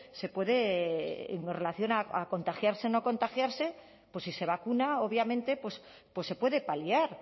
se puede en relación a contagiarse o no contagiarse pues si se vacuna obviamente pues se puede paliar